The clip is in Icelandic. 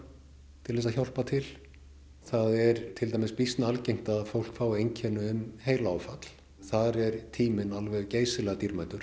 til að hjálpa til það er til dæmis býsna algengt að fólk fái einkenni um heilaáfall þar er tíminn alveg geysilega dýrmætur